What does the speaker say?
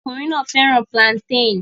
Ọkùnrin náà fẹ́ràn plantain